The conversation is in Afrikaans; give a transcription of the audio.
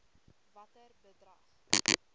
watter bedrag